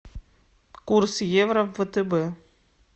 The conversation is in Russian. курс евро в втб